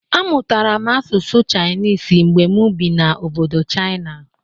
Amụtara m asụsụ chịanịs mgbe mụ bi na obodo chịana